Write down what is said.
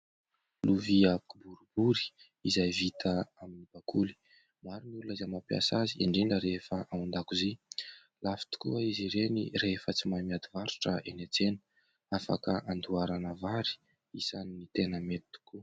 Lovia kiboribory izay vita amin'ny bakoly, maro ny olona izay mampiasa azy indrindra rehefa ao an-dakozia; lafo tokoa izy ireny rehefa tsy mahay miady varotra eny an-tsena ; afaka handoharana vary, isan'ny tena mety tokoa.